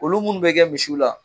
Olu munnu bɛ kɛ misiw la